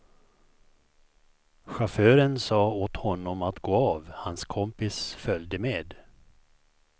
Chauffören sa åt honom att gå av, hans kompis följde med.